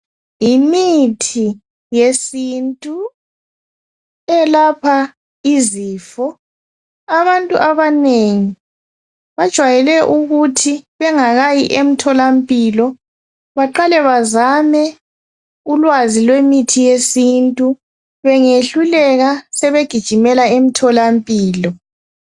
Yimithi yesintu elapha ezifo, abantu abanengi bajwayele ukuthi bengakayi eMtholampilo, baqale bazame ulwazi lwemithi yesintu, bengehluleka sebegijimela eMtholampilo.